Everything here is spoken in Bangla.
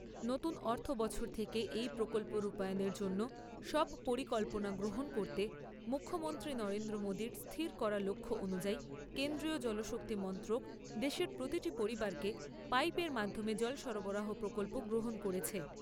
নতুন অর্থ বছর থেকে এই প্রকল্প রূপায়নের জন্য সব পরিকল্পনা গ্রহণ করতে মুখ্যমন্ত্রী নরেন্দ্র মোদীর স্থির করা লক্ষ্য অনুযায়ী কেন্দ্রীয় জলশক্তি মন্ত্রক দেশের প্রতিটি পরিবারকে পাইপের মাধ্যমে জল সরবরাহ প্রকল্প গ্রহণ করেছে।